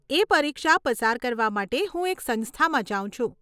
એ પરીક્ષા પસાર કરવા માટે હું એક સંસ્થામાં જાઉં છું.